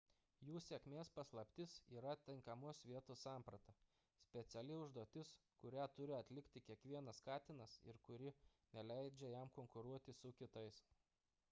jų sėkmės paslaptis yra tinkamos vietos samprata – speciali užduotis kurią turi atlikti kiekvienas katinas ir kuri neleidžia jam konkuruoti su kitais